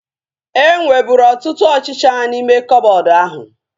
E nweburu ọtụtụ ọchịchịa n'ime koboodu ahu